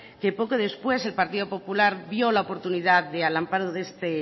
que poco después el partido popular vio la oportunidad de al amparo de este